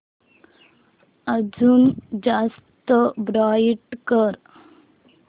अजून जास्त ब्राईट कर